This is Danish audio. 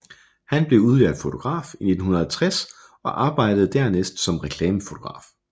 Han blev udlært fotograf i 1960 og arbejdede dernæst som reklamefotograf